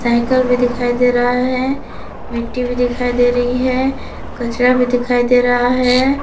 Cycle भी दिखाई दे रहा है मिट्टी भी दिखाई दे रही है कचरा भी दिखाई दे रहा है।